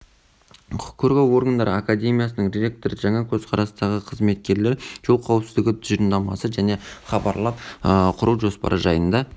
құқық қорғау органдары академиясының ректоры жаңа көзқарастағы қызметкерлер жол қауіпсіздігі тұжырымдамасы және хаб құру жоспары жайында